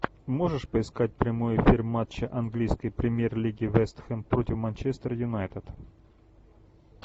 можешь поискать прямой эфир матча английской премьер лиги вест хэм против манчестер юнайтед